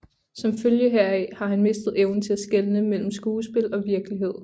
Som følge heraf har han mistet evnen til at skelne mellem skuespil og virkelighed